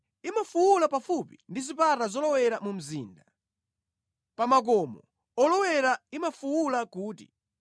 Imafuwula pafupi ndi zipata zolowera mu mzinda, pa makomo olowera imafuwula kuti,